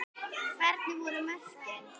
Hvernig voru mörkin?